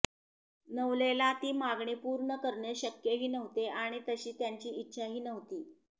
नवलेला ती मागणी पूर्ण करणे शक्यही नव्हते आणि तशी त्याची इच्छाही नव्हती